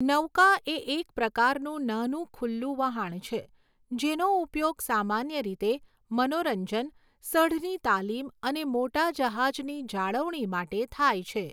નૌકા એ એક પ્રકારનું નાનું ખુલ્લું વહાણ છે જેનો ઉપયોગ સામાન્ય રીતે મનોરંજન, સઢની તાલીમ અને મોટા જહાજની જાળવણી માટે થાય છે.